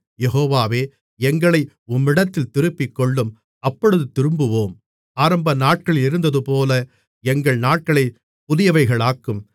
யெகோவாவே எங்களை உம்மிடத்தில் திருப்பிக்கொள்ளும் அப்பொழுது திரும்புவோம் ஆரம்பநாட்களிலிருந்ததுபோல எங்கள் நாட்களைப் புதியவைகளாக்கும்